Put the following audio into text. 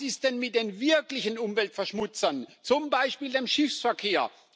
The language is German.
Was ist denn mit den wirklichen Umweltverschmutzern, zum Beispiel dem Schiffsverkehr?